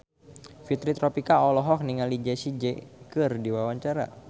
Fitri Tropika olohok ningali Jessie J keur diwawancara